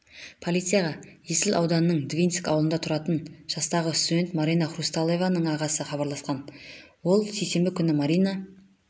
полицияға есіл ауданының двинск ауылында тұратын жастағы студент марина хрусталеваның ағасы хабарласқан ол сейсенбі күні марина